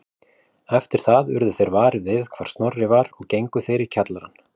Eftir það urðu þeir varir við hvar Snorri var og gengu þeir í kjallarann